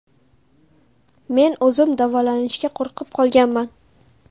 Men o‘zim davolanishga qo‘rqib qolganman.